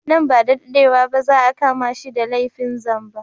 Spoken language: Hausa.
Nan ba da dadewa ba za a kama shi da laifin zamba